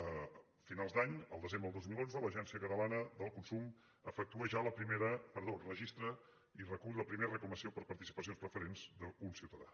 a finals d’any el desembre del dos mil onze l’agència catalana del consum registra i recull la primera reclamació per participacions preferents d’un ciutadà